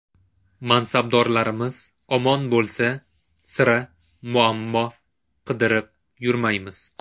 Mansabdorlarimiz omon bo‘lsa, sira muammo qidirib yurmaymiz.